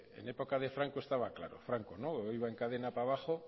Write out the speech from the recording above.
en época de franco estaba claro franco iba en cadena para abajo